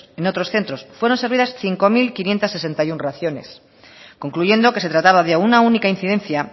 en otros centros fueron servidas cinco mil quinientos sesenta y uno raciones concluyendo que se trataba de una única incidencia